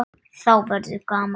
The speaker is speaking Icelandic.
Þá verður gaman.